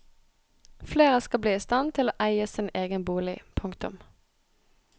Flere skal bli i stand til å eie sin egen bolig. punktum